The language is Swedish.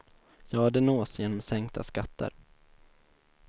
Ja, det nås genom sänkta skatter.